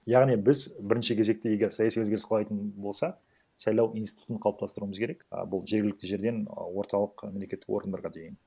яғни біз бірінші кезекте егер саяси өзгеріс қалайтын болсақ сайлау институтын қалыптастыруымыз керек а бұл жергілікті жерден а орталық мемлекеттік органдарға дейін